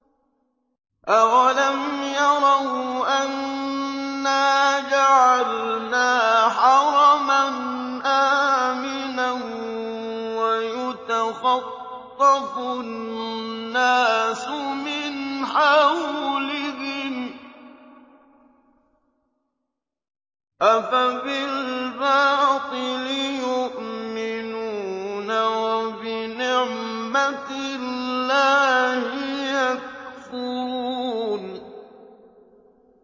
أَوَلَمْ يَرَوْا أَنَّا جَعَلْنَا حَرَمًا آمِنًا وَيُتَخَطَّفُ النَّاسُ مِنْ حَوْلِهِمْ ۚ أَفَبِالْبَاطِلِ يُؤْمِنُونَ وَبِنِعْمَةِ اللَّهِ يَكْفُرُونَ